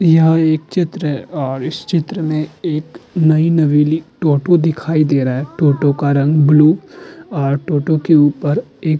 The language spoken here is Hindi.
यह एक चित्र और इस चित्र में एक नई नवेली टोटो दिखाई दे रहा है। टोटो का रंग ब्लू टोटो के ऊपर एक --